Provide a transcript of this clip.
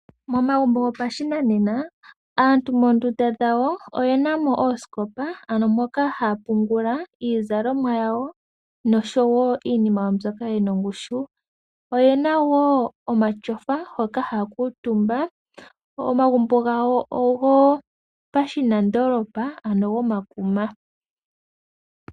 Momagumbo gopashinanena, aantu moondunda dhawo oyenamo oosikopa, ano moka ha yapungula iizalomwa yawo, nosho woo iinima mbyoka yina ongushu, oyena woo omatyofa, hoka hayakuutumba, omagumbo gawo ogopashinandoolopa, ano gomakuma.